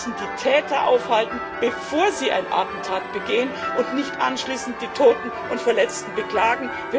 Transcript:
Wir müssen die Täter aufhalten, bevor sie ein Attentat begehen, und nicht anschließend die Toten und Verletzten beklagen.